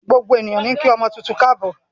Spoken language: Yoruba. Gbogbo ènìyàn níí kí ọmọ tuntun káàbò.